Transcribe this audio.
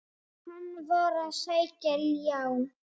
Hann var að sækja ljá.